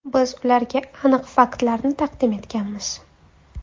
Biz ularga aniq faktlarni taqdim etganmiz.